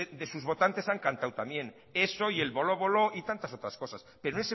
de sus votantes han cantado también eso y el voló voló y tantas otras cosas pero